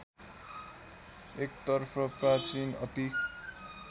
एकतर्फ प्राचीन अति